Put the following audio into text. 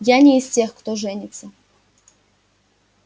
я не из тех кто женится